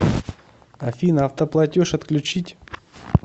афина автоплатеж отключить